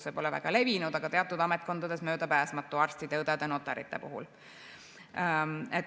See pole väga levinud, aga teatud ametkondades on see möödapääsmatu: arstide, õdede, notarite puhul.